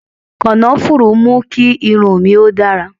Kànáfùrú mú kí irun mi ó dára